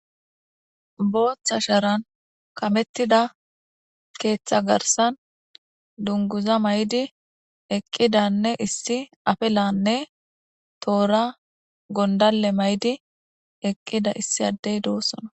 booththa sharan kamettida keeththa garsan dunguza may7di eqqidanne issi afelanne toora gondalle may7di eqqida issi addey doossona